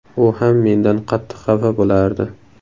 U ham mendan qattiq xafa bo‘lardi.